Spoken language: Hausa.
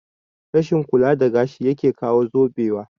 Rashin kula da gashi yake kawo zubewa